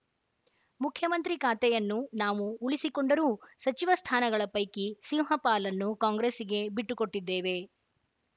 ಮುಖ್ಯಮಂತ್ರಿ ಖಾತೆಯನ್ನು ನಾವು ಉಳಿಸಿಕೊಂಡರೂ ಸಚಿವ ಸ್ಥಾನಗಳ ಪೈಕಿ ಸಿಂಹ ಪಾಲನ್ನು ಕಾಂಗ್ರೆಸ್ಸಿಗೆ ಬಿಟ್ಟು ಕೊಟ್ಟಿದ್ದೇವೆ